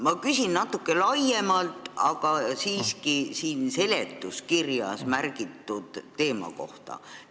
Ma küsin natuke laiemalt, aga siiski seletuskirjas mainitud teema kohta.